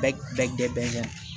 Bɛɛ bɛɛ jɛgɛ bɛ yan